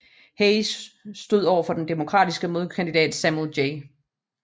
Hayes stod over for den demokratiske modkandidat Samuel J